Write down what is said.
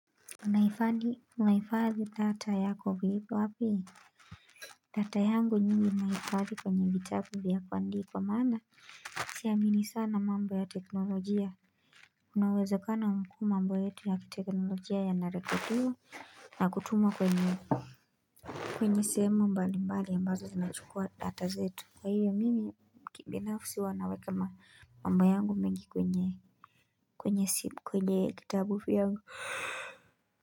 Unahifadhi, unahifadhi data yako vi wapi? Data yangu nyingi nahifadhi kwenye vitabu vya kuandikwa maana siamini sana mambo ya teknolojia kuna uwezekano mkuu mambo yetu ya kiteknolojia ya narekodiwa na kutuma kwenye kwenye sehemu mbali mbali ambazo zinachukua data zetu. Kwa hiyo mimi kibinafsi huwa naweka mambo yangu mengi kwenye kwenye kwenye kitabu vyangu h.